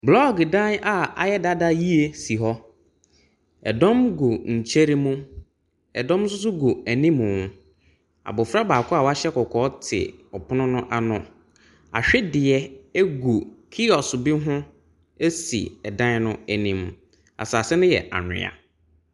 Blɔɔgo dan a ayɛ dada yie si hɔ. Dɔm gu nkyɛn mu. Ɛdɔm nso gu anim. Abɔfra baako a wahyɛ kɔkɔɔ te pono no ano. Ahwedeɛ gu keoso bi ho si dan no anim. Asase no yɛ anwea.